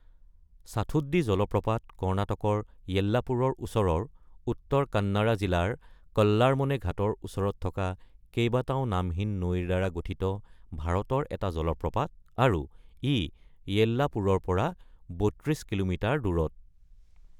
সাথোদ্দী জলপ্ৰপাত কৰ্ণাটকৰ য়েল্লাপুৰৰ ওচৰৰ উত্তৰ কান্নাড়া জিলাৰ কল্লাৰমনে ঘাটৰ ওচৰত থকা কেইবাটাও নামহীন নৈৰ দ্বাৰা গঠিত ভাৰতৰ এটা জলপ্ৰপাত, আৰু ই য়েল্লাপুৰৰ পৰা ৩২ কিলোমিটাৰ দূৰত।